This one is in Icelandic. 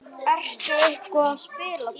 Ertu eitthvað að spila þar?